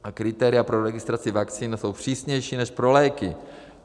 A kritéria pro registraci vakcín jsou přísnější než pro léky.